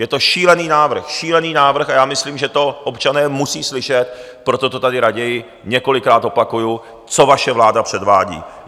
Je to šílený návrh, šílený návrh, a já myslím, že to občané musí slyšet, proto to tady raději několikrát opakuji, co vaše vláda předvádí.